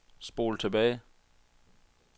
spol tilbage